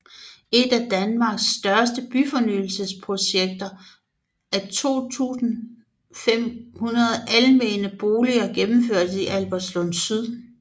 Et af danmarks største byfornyelsesprojekter af 2500 almene boliger gennemføres i Albertslund Syd